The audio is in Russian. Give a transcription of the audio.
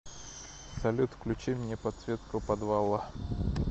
салют включи мне подсветку подвала